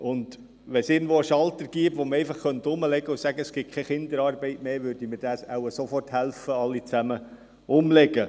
Wenn es irgendwo einen Schalter gäbe, den man einfach umlegen könnte, sodass keine Kinderarbeit mehr gäbe, würden wir wohl alle sofort helfen, diesen umzulegen.